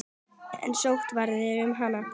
En sóttirðu um hana?